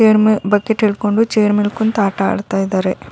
ಇದ್ರ್ ಮೇ ಬಕೆಟ್ ಹಿಡ್ಕೊಂಡು ಚೇರ್ ಮೇಲ್ ಕುಂತ್ ಆಟ ಆಡ್ತಾ ಇದ್ದಾರೆ.